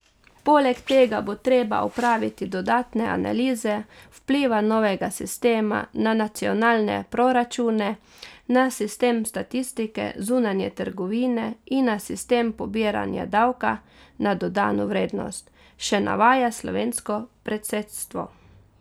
Poleg tega bo treba opraviti dodatne analize vpliva novega sistema na nacionalne proračune, na sistem statistike zunanje trgovine in na sistem pobiranja davka na dodano vrednost, še navaja slovensko predsedstvo.